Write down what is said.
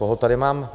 Koho tady mám?